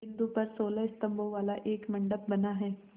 बिंदु पर सोलह स्तंभों वाला एक मंडप बना है